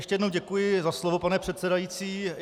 Ještě jednou děkuji za slovo, pane předsedající.